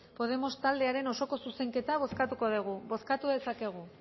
podemos taldearen osoko zuzenketa bozkatuko dugu bozkatu dezakegu